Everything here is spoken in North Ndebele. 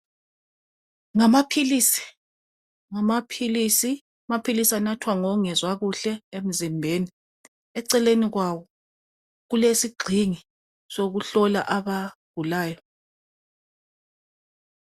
Ngamaphilisi ngamaphilisi, amaphilisi anathwa ngongezwa kuhle emzimbeni eceleni kwawo kulesigxingi sokuhlola abagulayo